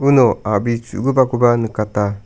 uno a·bri chu·gipakoba nikata.